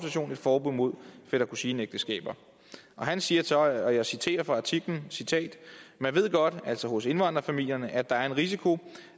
forbud mod fætter kusine ægteskaber han siger så og jeg citerer fra artiklen man ved godt altså hos indvandrerfamilierne at der er en risiko